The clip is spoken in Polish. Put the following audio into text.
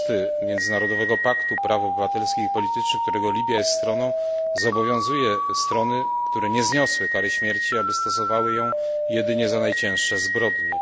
6 Międzynarodowego Paktu Praw Obywatelskich i Politycznych, którego Libia jest stroną, zobowiązuje strony, które nie zniosły kary śmierci, aby stosowały ją jedynie za najcięższe zbrodnie.